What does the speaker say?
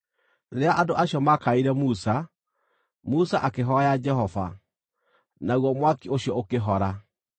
Rĩrĩa andũ acio maakaĩire Musa, Musa akĩhooya Jehova, naguo mwaki ũcio ũkĩhora.